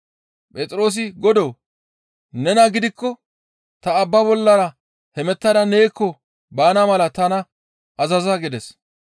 Phexroosi, «Godoo! Nena gidikko ta abbaa bollara hemettada neekko baana mala tana azaza» gides.